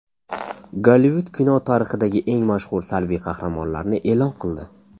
Gollivud kino tarixidagi eng mashhur salbiy qahramonlarni e’lon qildi.